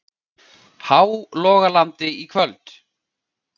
Hálogalandi í kvöld.